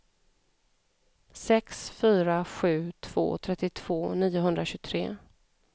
sex fyra sju två trettiotvå niohundratjugotre